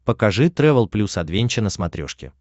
покажи трэвел плюс адвенча на смотрешке